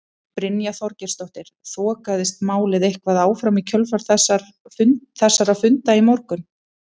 Brynja Þorgeirsdóttir: Þokaðist málið eitthvað áfram í kjölfar þessara funda í morgun?